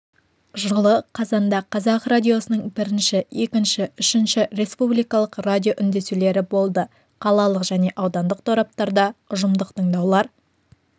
жылы қазанда қазақ радиосының бірінші екінші үшінші республикалық радиоүндесулері болды қалалық және аудандық тораптарда ұжымдық тыңдаулар